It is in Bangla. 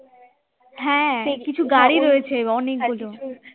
হ্যাঁ কিছু গাড়ি রয়েছে অনেকগুলো